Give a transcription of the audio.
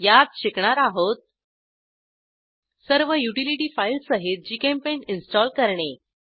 यात शिकणार आहोत सर्व युटिलिटी फाईल्स सहित जीचेम्पेंट इन्स्टॉल करणे